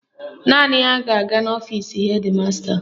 Naanị ya ga-aga n'ọfisi hedi masta